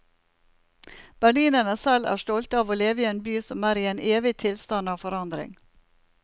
Berlinerne selv er stolte av å leve i en by som er i en evig tilstand av forandring.